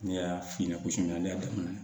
Ne y'a f'i ɲɛna ko sonyali ne daminɛ